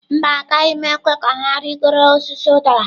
Mba, agaghị ekwe ka ha rịgoro osisi udara.